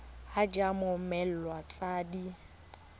id ya mmoelwa tse di